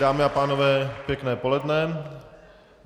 Dámy a pánové, pěkné poledne.